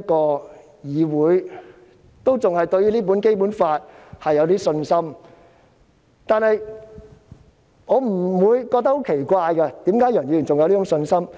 個議會和《基本法》仍然抱有信心，我不會感到奇怪，為何楊岳橋議員仍然有這種信心？